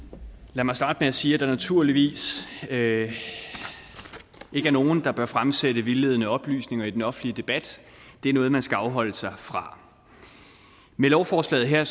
lad mig starte med at sige at der naturligvis ikke er nogen der bør fremsætte vildledende oplysninger i den offentlige debat det er noget man skal afholde sig fra med lovforslaget her